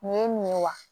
Nin ye nin ye wa